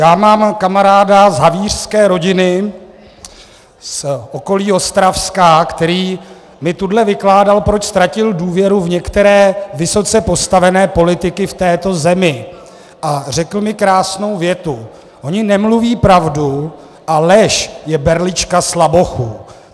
Já mám kamaráda z havířské rodiny z okolí Ostravska, který mi tuhle vykládal, proč ztratil důvěru v některé vysoce postavené politiky v této zemi, a řekl mi krásnou větu: Oni nemluví pravdu a lež je berlička slabochů.